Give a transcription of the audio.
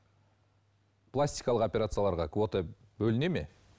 пластикалық операцияларға квота бөлінеді ме